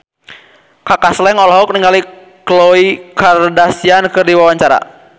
Kaka Slank olohok ningali Khloe Kardashian keur diwawancara